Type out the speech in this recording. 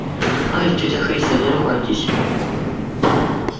ай тётя христя не ругайтесь